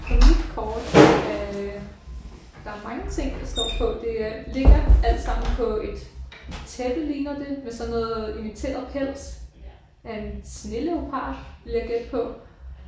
På mit kort er der mange ting der står på. Det er ligger alt sammen på et tæppe ligner det med sådan noget imiteret pels af en sneleopard vil jeg gætte på